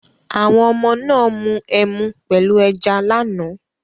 Àwọn oọmọ náà mu ẹmu pẹ̀lú ẹja lánàá.